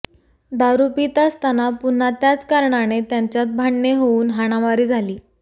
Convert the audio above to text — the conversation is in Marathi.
दारू पीत असताना पुन्हा त्याच कारणाने त्यांच्यात भांडणे होऊन हाणामारी झाली